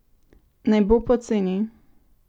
Ne bo poceni!